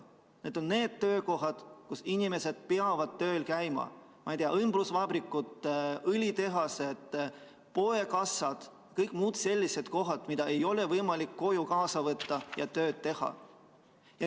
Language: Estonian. Need on need töökohad, kus inimesed peavad tööl kohal käima: õmblusvabrikud, õlitehased, poekassad ja kõik muud sellised kohad, kus ei ole võimalik tööd koju kaasa võtta.